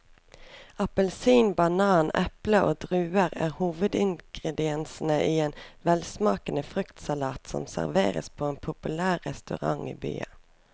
Appelsin, banan, eple og druer er hovedingredienser i en velsmakende fruktsalat som serveres på en populær restaurant i byen.